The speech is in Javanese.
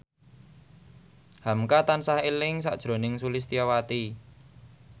hamka tansah eling sakjroning Sulistyowati